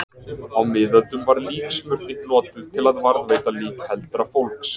Á miðöldum var líksmurning notuð til að varðveita lík heldra fólks.